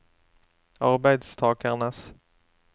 arbeidstakernes